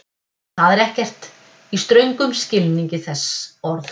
Það er ekkert, í ströngum skilningi þess orðs.